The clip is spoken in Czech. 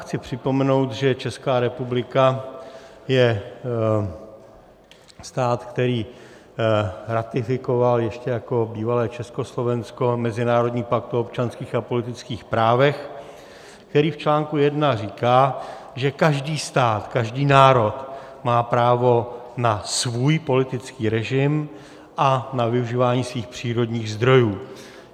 Chci připomenout, že Česká republika je stát, který ratifikoval ještě jako bývalé Československo mezinárodní pakt o občanských a politických právech, který v článku jedna říká, že každý stát, každý národ má právo na svůj politický režim a na využívání svých přírodních zdrojů.